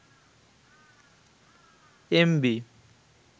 MB